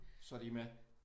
Så de er med?